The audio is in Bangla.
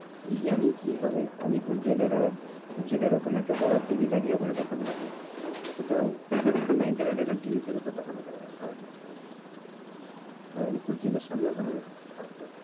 কি জানি কি হবে আর add জেলের ওখানে একটা বড় TV লাগিয়ে ওখানে দেখানো হবে কোথাও internet না TV তে দেখানো যাবে না ওই আলিপুর জেলের সামনে ওখানে থাকবে।